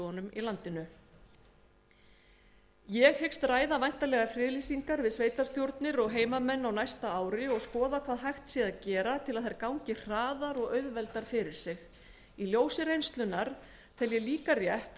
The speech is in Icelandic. á sviði náttúruverndar ég hyggst ræða væntanlegar friðlýsingar við sveitarstjórnir og heimamenn á næsta ári og skoða hvað hægt sé að gera til að þær gangi hraðar og auðveldar fyrir sig í ljósi reynslunnar tel ég líka rétt